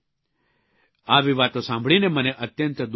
આવી વાતો સાંભળીને મને અત્યંત દુઃખ થયું છે